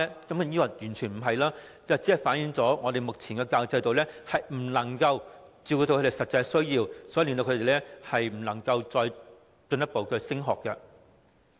當然不是，這只是反映我們目前的教育制度不能夠照顧他們的實際需要，以致他們無法繼續升學而已。